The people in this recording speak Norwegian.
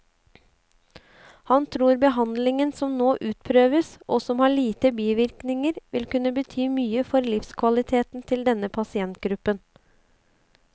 Han tror behandlingen som nå utprøves, og som har lite bivirkninger, vil kunne bety mye for livskvaliteten til denne pasientgruppen.